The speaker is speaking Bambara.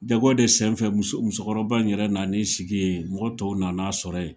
Jago de sen fɛ muso musokɔrɔba in yɛrɛ nan'i sigi ye, mɔgɔ tɔw nan'a sɔrɔ ye.